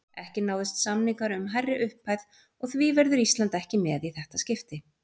Ekki náðust samningar um hærri upphæð og því verður Ísland ekki með í þetta skipti.